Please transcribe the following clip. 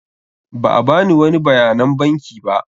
Ba a bani wani bayanan banki ba.